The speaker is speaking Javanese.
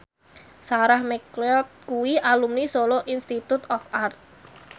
Sarah McLeod kuwi alumni Solo Institute of Art